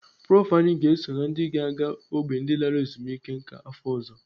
Prof anyị ga-eso na ndị ga-aga n'ógbè ndị lara ezumike nká afọ ọzọ.